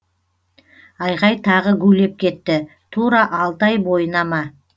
айғай тағы гулеп кетті тура алты ай бойына ма